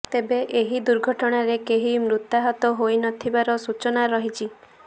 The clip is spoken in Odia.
ତେବେ ଏହି ଦୁର୍ଘଟଣାରେ କେହି ମୃତାହତ ହୋଇନଥିବାର ସୂଚନା ରହିଛି